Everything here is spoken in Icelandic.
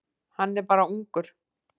Hann er bara ungur.